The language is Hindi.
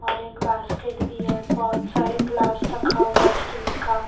और एक बास्केट भी है बहुत सारी ग्लास रखा हुआ स्टील का।